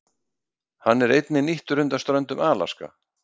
Hann er einnig nýttur undan ströndum Alaska.